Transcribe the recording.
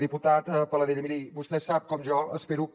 diputat paladella miri vostè sap com jo espero que